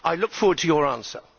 I look forward to your answer.